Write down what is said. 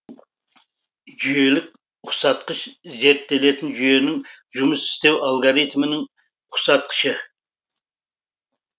жүйелік ұқсатқыш зерттелетін жүйенің жұмыс істеу алгоритмінің ұқсатқышы